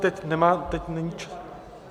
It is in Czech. Teď nemá, teď není...